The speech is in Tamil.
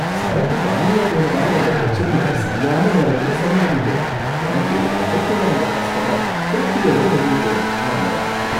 சரக்கு காலியாப் போனதால வந்த பிரச்சனைய சரியான நேரத்துல சரி பண்ணிட்டேன், எனக்கு கடைக்குள்ள வந்த கஸ்டமர் திருப்தியோட வெளிய போணும், அவ்ளோ தான்!